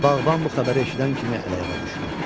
Bağban bu xəbəri eşidən kimi əl-ayağa düşdü.